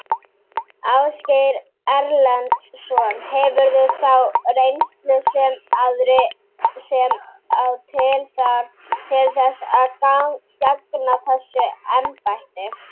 Ásgeir Erlendsson: Hefurðu þá reynslu sem að til þarf til þess að gegna þessu embætti?